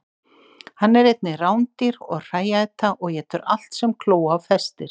Hann er einnig rándýr og hrææta og étur allt sem kló á festir.